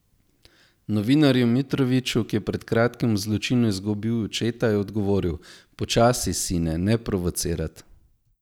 Novinarju Mitroviću, ki je pred kratkim v zločinu izgubil očeta, je odgovoril: "Počasi, sine, ne provocirat.